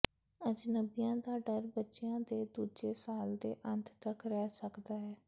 ਅਜਨਬੀਆਂ ਦਾ ਡਰ ਬੱਚਿਆਂ ਦੇ ਦੂਜੇ ਸਾਲ ਦੇ ਅੰਤ ਤੱਕ ਰਹਿ ਸਕਦਾ ਹੈ